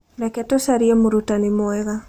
Reke tũcarie mũrutani mwega.